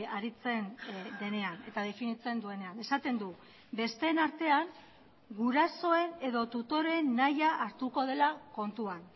aritzen denean eta definitzen duenean esaten du besteen artean gurasoen edo tutoreen nahia hartuko dela kontuan